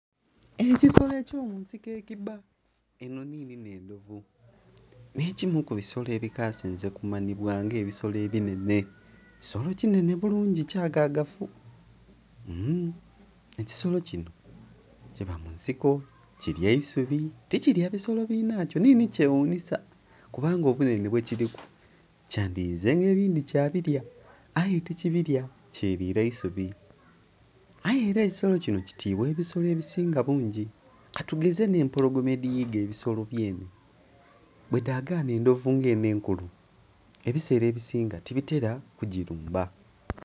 Ekisolo eky'omunsiko ekibba eno nini n'endhovu. N'ekimu ku bisolo ebikasinze kumanibwa nga ebisolo ebinhenhe, kisolo kinhenhe bulungi kyagagavu. Ekisolo kino kiba mu nsiko kilya isubi tikirya bisolo binhakyo nini kyeghunisa kubanga obunhenhe bwekiriku kyandhiyizenga ebindhi kyabirya aye tikibirya, kyerira isubi. Aye era ekisolo kino kitiibwa ebisolo ebisinga bungi katugeze n'empologoma edhiyiga ebisolo byene, bwedhagana endhovu nga eno enkulu ebiseera ebisinga tibitera kugirumba.